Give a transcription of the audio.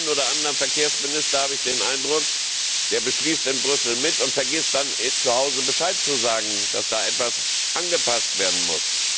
Bei dem einen oder anderen Verkehrsminister habe ich den Eindruck, dass er in Brüssel mitbeschließt und vergisst, zu Hause Bescheid zu sagen, dass da etwas angepasst werden muss.